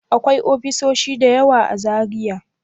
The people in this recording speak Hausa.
Akwai ofisoshi da yawa a Zaria?